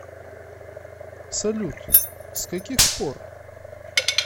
салют с каких пор